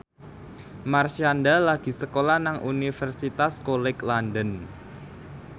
Marshanda lagi sekolah nang Universitas College London